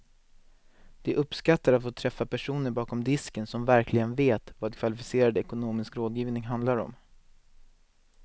De uppskattar att få träffa personer bakom disken som verkligen vet vad kvalificerad ekonomisk rådgivning handlar om.